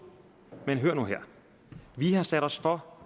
men hør nu her vi har sat os for